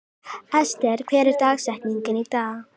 Ester, hver er dagsetningin í dag?